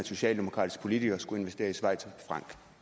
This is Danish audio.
socialdemokratiske politikere skulle investere i schweizerfranc